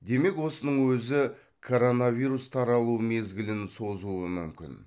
демек осының өзі коронавирус таралу мезгілін созуы мүмкін